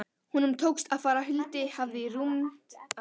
Honum tókst að fara huldu höfði í rúmt ár.